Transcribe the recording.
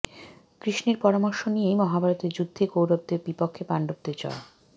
কৃষ্ণের পরামর্শ নিয়েই মহাভারতের যুদ্ধে কৌরবদের বিপক্ষে পাণ্ডবদের জয়